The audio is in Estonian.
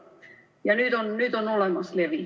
Ja nüüd on levi olemas.